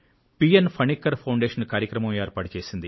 Panicker foundation కార్యక్రమం ఏర్పాటు చేసింది